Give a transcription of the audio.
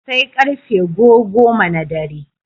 Sai ƙarfe go goma na dare.